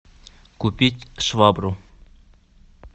купить швабру